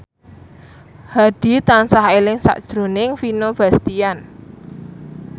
Hadi tansah eling sakjroning Vino Bastian